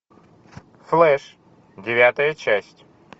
флэш девятая часть